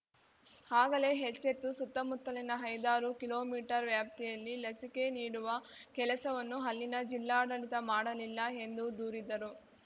ಆಗಲೇ ಎಚ್ಚೆತ್ತು ಸುತ್ತಮುತ್ತಲಿನ ಐದಾರು ಕಿಲೋಮೀಟರ್ ವ್ಯಾಪ್ತಿಯಲ್ಲಿ ಲಸಿಕೆ ನೀಡುವ ಕೆಲಸವನ್ನು ಅಲ್ಲಿನ ಜಿಲ್ಲಾಡಳಿತ ಮಾಡಲಿಲ್ಲ ಎಂದು ದೂರಿದರು